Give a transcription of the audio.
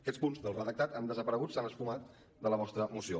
aquests punts del redactat han desaparegut s’han esfumat de la vostra moció